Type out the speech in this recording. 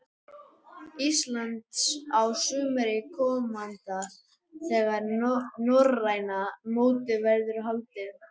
Íslands á sumri komanda þegar norræna mótið verður haldið.